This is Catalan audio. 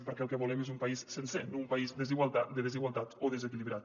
perquè el que volem és un país sencer no un país de desigualtats o desequilibrat